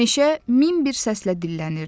Meşə min bir səslə dillənirdi.